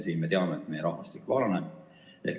Me teame, et meie rahvastik vananeb.